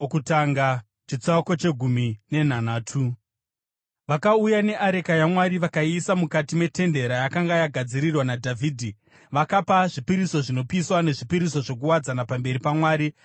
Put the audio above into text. Vakauya neareka yaMwari vakaiisa mukati metende rayakanga yagadzirirwa naDhavhidhi, vakapa zvipiriso zvinopiswa nezvipiriso zvokuwadzana pamberi paMwari.